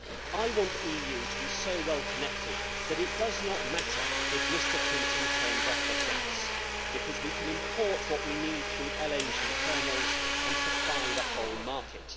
I want the EU to be so well connected that it does not matter if Mr Putin turns off the gas because we can import what we need through LNG terminals and supply the whole market.